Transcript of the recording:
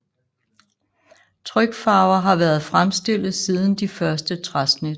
Trykfarver har været fremstillet siden de første træsnit